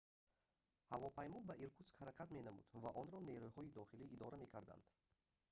ҳавопаймо ба иркутск ҳаракат менамуд ва онро нерӯҳои дохилӣ идора мекарданд